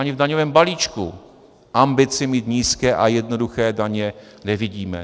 Ani v daňovém balíčku ambici mít nízké a jednoduché daně nevidíme.